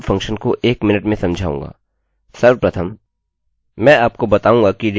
मैं इस include function को एक मिनट में समझाऊँगा